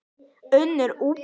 Unnur Ösp.